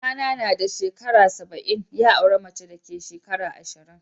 Kaka na shekara saba'in, ya aura mace da ke shekara ashirin.